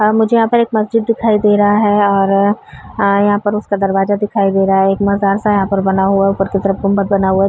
मुझे यहाँ पर एक मस्जिद दिखाई दे रहा है और यहाँ पर इसका दरवाजा दिखाई दे रहा है। एक मजार सा यहाँ पर बना हुआ ऊपर की तरफ गुम्बद बना हुआ --